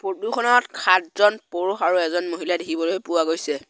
উদ্যোক খনত সাতজন পুৰুষ আৰু এজন মহিলা দেখিবলৈ পোৱা গৈছে।